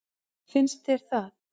Finnst þér það?